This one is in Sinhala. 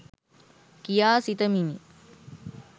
කියා සිතමිනි